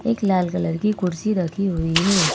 एक लाल कलर की कुडसी रखी हुई है।